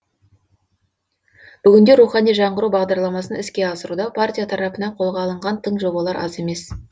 бүгінде рухани жаңғыру бағдарламасын іске асыруда партия тарапынан қолға алынған тың жобалар аз емес